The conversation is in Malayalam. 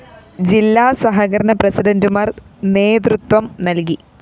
ജില്ലാ സഹകരണ പ്രസിഡന്റുമാര്‍ നേതൃത്വം നല്‍കി